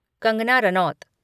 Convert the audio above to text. Kangana Ranaut